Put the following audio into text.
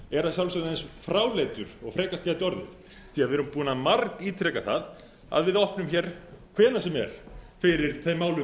er að sjálfsögðu eins fráleitur og frekast getur orðið því við erum búnir að margítreka það að við opnum hvenær sem er fyrir þeim málum